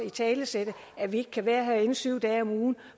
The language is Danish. italesætte at vi ikke kan være herinde syv dage om ugen